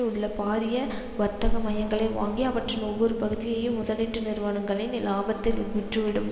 உள்ள பாரிய வர்த்தக மையங்களை வாங்கி அவற்றின் ஒவ்வொரு பகுதியையும் முதலீட்டு நிறுவனங்களுக்கு இலாபத்தில் விற்றுவிடும்